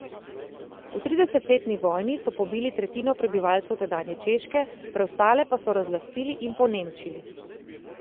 V tridesetletni vojni so pobili tretjino prebivalcev tedanje Češke, preostale pa so razlastili in ponemčili.